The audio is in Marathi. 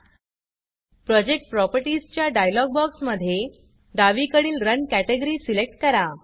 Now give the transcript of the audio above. प्रोजेक्ट Propertiesप्रॉजेक्ट प्रॉपर्टीस च्या डायलॉग बॉक्समधे डावीकडील Runरन कॅटॅगरी सिलेक्ट करा